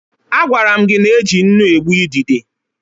A gwara m gị n'eji nnu egbu ịdide